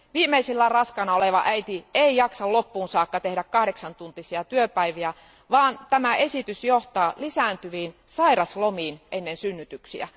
Viimeisillään raskaana oleva äiti ei jaksa loppuun saakka tehdä kahdeksantuntisia työpäiviä, vaan tämä esitys johtaa lisääntyviin sairauslomiin ennen synnytyksiä.